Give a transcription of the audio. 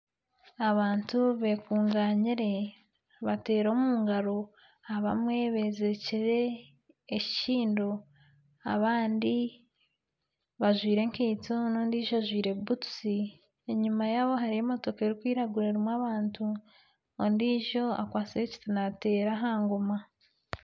Abantu bekunganyire nibateera omu ngaro. Abamwe bezirikire enkindo, abandi bajwaire enkeito, n'ondiIjo ajwaire butusi, enyima yaabo hariyo emotoka erikwiragura erimu abantu. OndiIjo akwatsire ekiti nateera aha ngoma.